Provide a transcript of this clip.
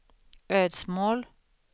Ödsmål